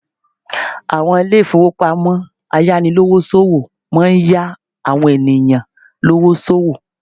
Àwọn Ilé ìfowópamọ́ ayánilówó ṣòwò máa ń yá àwọn ènìyàn lówó sòwò